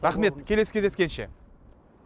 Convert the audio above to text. рахмет келесі кездескенше